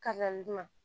dunna